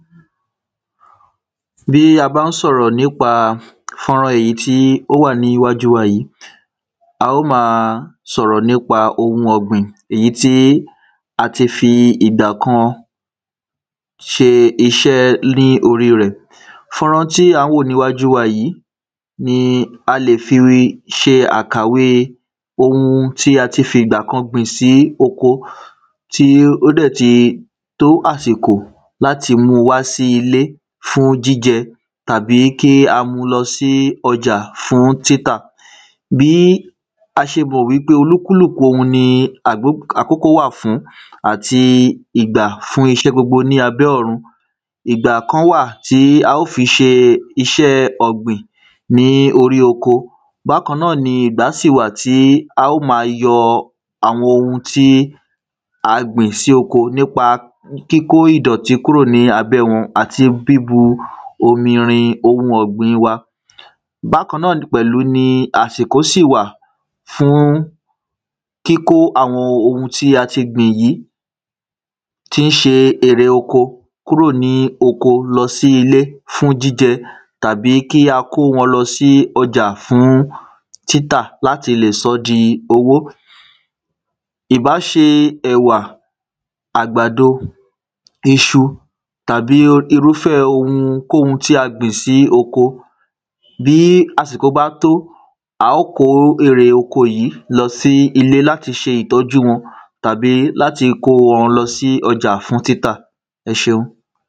Bí a bá ń sọ̀rọ̀ nípa fọ́nrán èyí tí ó wà ní iwájú wa yìí á ó ma sọ̀rọ̀ nípa ohun ọ̀gbìn èyí tí a ti fi ìdà kan ṣe iṣẹ́ ní orí rẹ̀. Fọ́nrán tí à ń wò ní iwájú wa yìí ni a le fi ṣe àkàwé ohun tí a ti fiìgbà kan gbìn sí oko tí ó dẹ̀ ti tó àsìkò láti mú wá sí ilé fún jíjẹ tàbí kí a mú lọ sí ọjà fún títà. Bí a ṣe mọ̀ wípé olúkúlùkù ohun ni àkó àkókò wà fún àti ìgbà fún iṣẹ́ gbogbo ní abẹ́ ọ̀run. Ìgbà kan wà tí á ó fi ṣe iṣẹ́ ọ̀gbìn ní orí oko. Bákanáà ni ìgbà sì wà tí á ó má yọ àwọn ohun tí à gbìn sí oko nípa kíkó ìdọ̀tí kúrò ní abẹ́ wọn àti bíbu omi rin ohun ọ̀gbìn wa. Bákanáà pẹ̀lú ni àsìkò sí wà fún kíkó àwọn ohun tí a tì gbìn yìí tí ṣe èrè oko kúrò ní oko lọ sí ilé fún jíjẹ tàbí kí a kó wọn lọ sí ọjà fún títà láti lè sọ́ di owó. Ìbá ṣe ẹ̀wà à̀gbàdo, iṣu, tàbí irúfẹ́ ohunkóhun tí a gbìn sí oko bí àsìkò bá tó á ó kó erè oko yìí lọ sí ilé láti ṣe ìtọ̀jú wọn tàbí láti kó wọn lọ sí ọjà fún títà ẹṣeun.